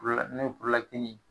n'o ye ye